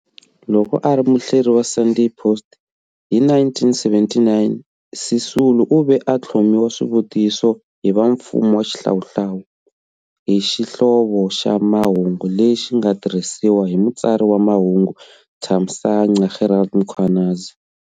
Loko a ri muhleri wa"Sunday Post" hi 1979, Sisulu u ve a tlhomiwa swivutiso hi va mfumo wa xihlawuhlawu hi xihlovo xa mahungu lexi xi nga tirhisiwa hi mutsari wa mahungu Thamsanqa Gerald Mkhwanazi.